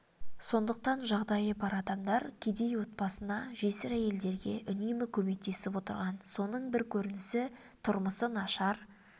сондықтан жағдайы бар адамдар кедей отбасына жесір әйелдерге үнемі көмектесіп отырған соның бір көрінісі тұрмысы нашар